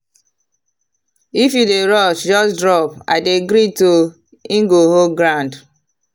if you dey rush just drop “i dey greet o”. e go hold ground.